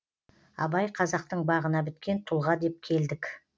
абай қазақтың бағына біткен тұлға деп келдік